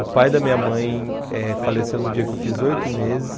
O pai da minha mãe eh faleceu no dia que eu fiz oito meses.